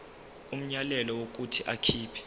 umyalelo wokuthi akhipha